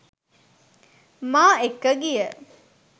මා එක්ක ගිය